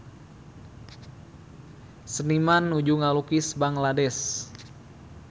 Seniman nuju ngalukis Bangladesh